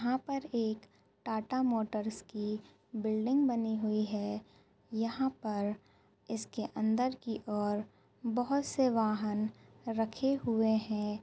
यहाँ पर एक टाटा मोटर्स की बिल्डिंग बनी हुई है यहाँ पर इसके अंदर की ओर बोहोत से वाहन रखे हुए हैं।